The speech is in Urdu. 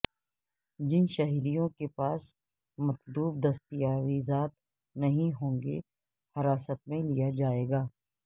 جن شہریوں کے پاس مطلوب دستاویزات نہیں ہوں گے حراست میں لیا جائے گا